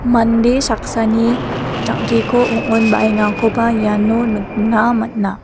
mande saksani jang·keko ong·onbaengakoba iano nikna man·a.